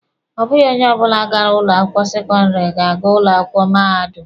Ọ bụghị onye ọbụla gara ụlọ akwụkwọ sekọndịrị ga-aga ụlọ akwụkwọ mahadum.